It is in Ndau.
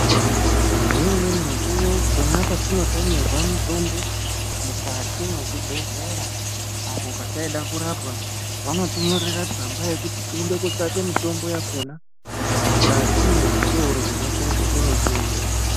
Ngeumweni mukuwo, pona petinotemerwa mutombo mukati mwezvibhedhlera, apo petaide kurapwa, vanotinyorera tsamba yekuti tiende kootsvake mitombo yakhona, mukati mwezvitoro zvinotengeswa mitombo.